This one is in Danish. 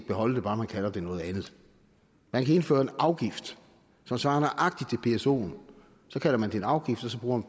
beholde det bare man kalder det noget andet man kan indføre en afgift som svarer nøjagtig til psoen så kalder man det en afgift og så bruger